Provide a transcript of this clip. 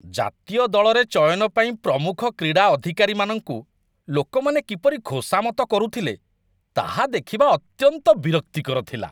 ଜାତୀୟ ଦଳରେ ଚୟନ ପାଇଁ ପ୍ରମୁଖ କ୍ରୀଡ଼ା ଅଧିକାରୀମାନଙ୍କୁ ଲୋକମାନେ କିପରି ଖୋସାମତ କରୁଥିଲେ ତାହା ଦେଖିବା ଅତ୍ୟନ୍ତ ବିରକ୍ତିକର ଥିଲା।